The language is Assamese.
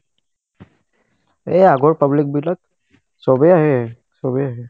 এ আগৰ public বিলাক চবে আহে চবে